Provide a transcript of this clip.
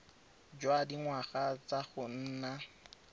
jwa dingwaga tsa go nna